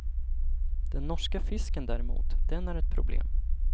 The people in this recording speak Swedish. Den norska fisken däremot, den är ett problem.